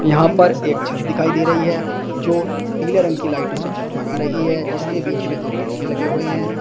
यहां पर एक छत दिखाई दे रही है जो पीले रंग के लाइटों से जगमगा रही है जिसके बीच में दो पंखे लगे हुए हैं।